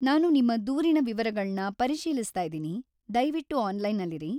ನಾನು ನಿಮ್ಮ ದೂರಿನ ವಿವರಗಳನ್ನ ಪರಿಶೀಲಿಸ್ತಾ ಇದೀನಿ, ದಯ್ವಿಟ್ಟು ಆನ್ಲೈನಲ್ಲಿರಿ.